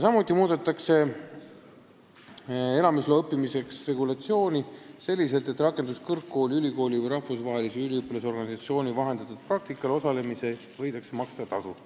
Samuti muudetakse õppimiseks elamisloa andmise regulatsiooni selliselt, et rakenduskõrgkooli, ülikooli või rahvusvahelise üliõpilasorganisatsiooni vahendatud praktikal osalemisel võidakse maksta tasu.